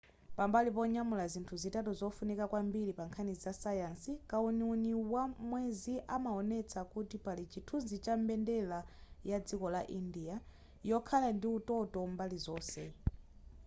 pambali ponyamula zinthu zitatu zofunika kwambiri pa nkhani zasayansi kauniuni wamwezi amaonesa kuti pali chithunzi cha mbendera ya dziko la india yokhala ndi utoto mbali zonse